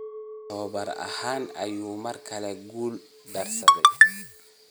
Tababare ahaan ayuu mar kale ku guul daraystay.